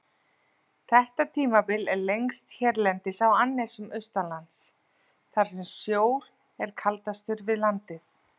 Þetta tímabil er lengst hérlendis á annesjum austanlands, þar sem sjór er kaldastur við landið.